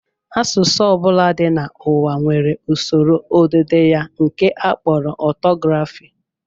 Asụsụ ọ bụla dị n'ụwa nwere usoro odide ya nke a kpọrọ ọtọgrafị